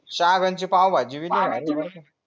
शाळेकडची पाव भाजी भी लय भारी बरका